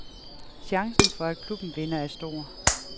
Chancen for, at klubben vinder, er stor.